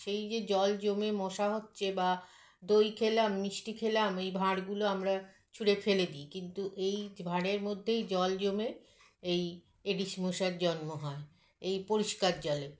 সেই যে জল জমে মশা হচ্ছে বা দই খেলাম মিষ্টি খেলাম এই ভাঁড়গুলো আমরা ছুঁড়ে ফেলে দিই কিন্তু এই ভাঁড়ের মধ্যেই জল জমে এই Aedes মশার জন্ম হয় এই পরিস্কার জলে